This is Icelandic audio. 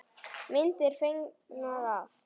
Myndir fengnar af